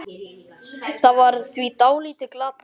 Það var því dálítið glatað.